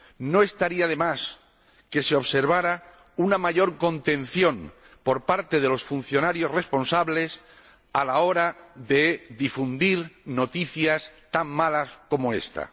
No estaría de más que se observara una mayor contención por parte de los funcionarios responsables a la hora de difundir noticias tan malas como esta.